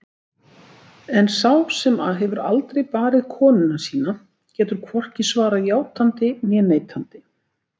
En sá sem hefur aldrei barið konuna sína getur hvorki svarað játandi né neitandi.